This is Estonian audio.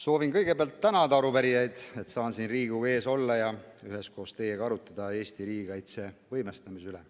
Soovin kõigepealt tänada arupärijaid, et saan siin Riigikogu ees olla ja üheskoos teiega arutleda Eesti riigikaitse võimestamise üle.